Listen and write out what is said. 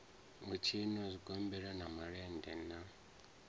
u tshinwa zwigombela malende na